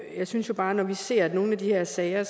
jeg synes jo bare at når vi ser nogle af de her sager